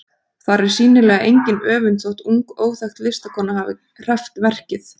Þar er sýnilega engin öfund þótt ung, óþekkt listakona hafi hreppt verkið.